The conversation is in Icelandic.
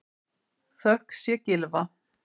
Þökk sé Gylfa